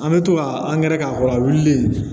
An bɛ to ka angɛrɛ k'a kɔrɔ a wulilen